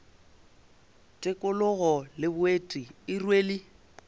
tikologo le boeti e rwele